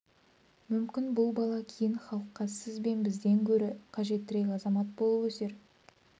мүмкін бұл бала кейін халыққа сіз бен бізден гөрі қажеттірек азамат болып өсер